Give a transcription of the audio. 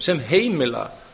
sem heimila